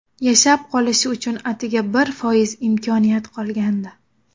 Yashab qolishi uchun atigi bir foiz imkoniyat qolgandi.